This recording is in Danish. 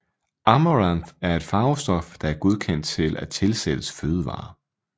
Amaranth er et farvestof der er godkendt til at tilsættes fødevarer